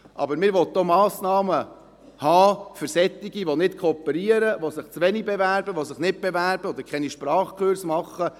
Aber man will auch Massnahmen für jene haben, die nicht kooperieren, die sich zu wenig oder nicht bewerben oder keine Sprachkurse besuchen.